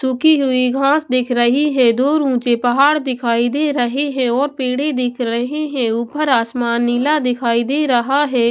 सूखी हुई घास दिख रही है दो ऊंचे पहाड़ दिखाई दे रहे हैं और पेड़े दिख रहे हैं ऊपर आसमान नीला दिखाई दे रहा है।